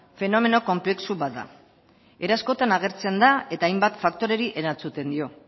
fenomeno konplexu bat da era askotan agertzen da eta hainbat faktoreri erantzuten dio